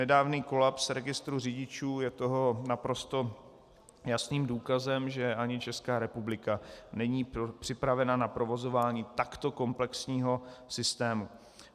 Nedávný kolaps registru řidičů je toho naprosto jasným důkazem, že ani Česká republika není připravena na provozování takto komplexního systému.